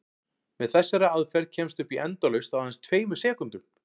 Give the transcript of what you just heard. Með þessari aðferð kemstu upp í endalaust á aðeins tveimur sekúndum!